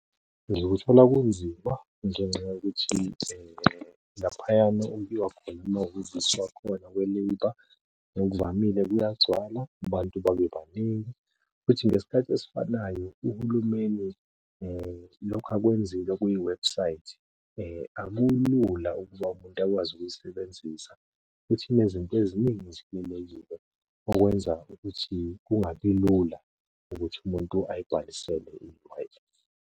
Ngikuthola kunzima ngenxa yokuthi laphayana okuyiwa khona khona kwa-Labour. Ngokuvamile kuyagcwala abantu babe baningi, futhi ngesikhathi esifanayo uhulumeni lokho akwenzile kwiwebhusayithi, akulula ukuba umuntu akwazi ukuyisebenzisa futhi inezinto eziningi okwenza ukuthi kungabi lula ukuthi umuntu ayibhalisele i-Wi-Fi.